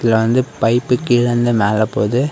இதுல வந்து பைப்பு கீழ இருந்து மேல போகுது.